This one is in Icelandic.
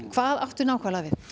hvað áttu nákvæmlega við